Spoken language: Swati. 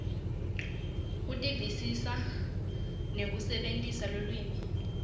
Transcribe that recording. kuvisisa nekusebentisa lulwimi